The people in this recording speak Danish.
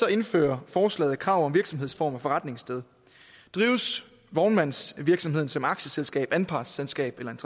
indfører forslaget krav om virksomhedsform og forretningssted drives vognmandsvirksomheden som aktieselskab anpartsselskab eller